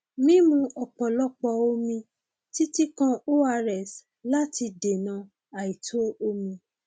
mímu ọpọlọpọ omi títí kan ors láti dènà àìtó omi